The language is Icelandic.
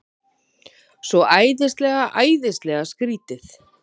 Svo æðislega, æðislega skrýtið.